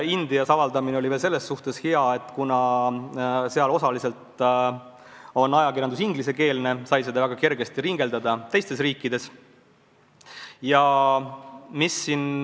Indias artiklite avaldamine oli veel selles mõttes hea, et kuna seal osaliselt on ajakirjandus ingliskeelne, siis sai neid artikleid väga kergesti ringeldada teisteski riikides.